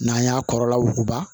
N'an y'a kɔrɔla wuguba